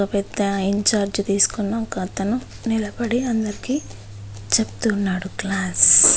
ఒక పెద్ద ఇంచార్జ్ తీసుకున్న ఒకతను నిలబడి అందరికీ చెప్తున్నాడు క్లాస్ .